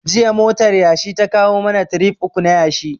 Jiya motar yashi ta kawo mana tirif uku na yashi